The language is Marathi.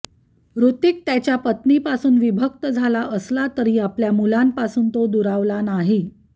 हृतिक त्याच्या पत्नीपासून विभक्त झाला असला तरी आपल्या मुलांपासून तो दुरावला नाही